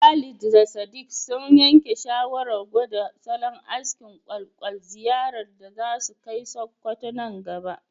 Khalid da Sadiq sun yanke shawarar gwada salon askin ƙwaƙwal ziyarar da za su kai Sokoto nan gaba.